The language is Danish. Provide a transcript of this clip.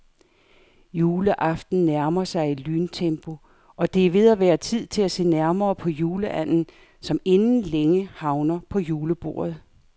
Juleaften nærmer sig i lyntempo, og det er ved at være tid til at se nærmere på juleanden, som inden længe havner på julebordet.